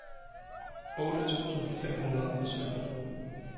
otte tusind fem hundrede og sytten